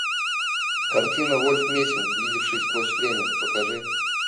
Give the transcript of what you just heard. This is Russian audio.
картина вольф мессинг видевший сквозь время покажи